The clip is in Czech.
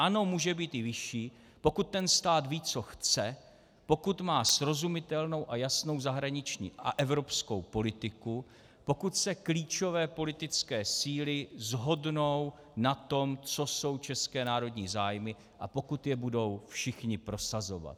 Ano, může být i vyšší, pokud ten stát ví, co chce, pokud má srozumitelnou a jasnou zahraniční a evropskou politiku, pokud se klíčové politické síly shodnou na tom, co jsou české národní zájmy, a pokud je budou všichni prosazovat.